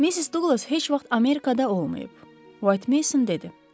Missis Douqlas heç vaxt Amerikada olmayıb, White Mason dedi.